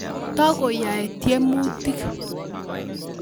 Tokoyae tiemutik